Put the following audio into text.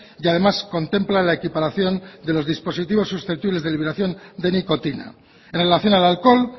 y además contempla la equiparación de los dispositivos susceptibles de eliminación de nicotina en relación al alcohol